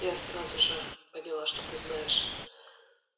я сразу же поняла что ты знаешь